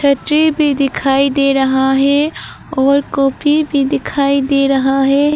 बच्चे भी दिखाई दे रहा है और कॉपी भी दिखाई दे रहा है।